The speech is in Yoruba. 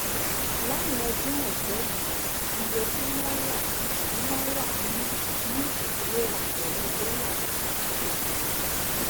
láwọn ọdún àìpé yìí iye tí náírà tí náírà ní ní ìfiwéra pèlú dólà ti dín kù ganan